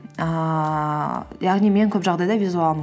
ііі яғни мен көп жағдайда визуалмын